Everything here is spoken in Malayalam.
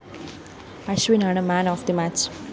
അശ്വിനാണ് മാൻ ഓഫ്‌ തെ മാച്ച്‌